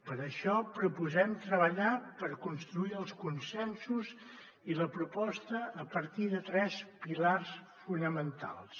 per això proposem treballar per construir els consensos i la proposta a partir de tres pilars fonamentals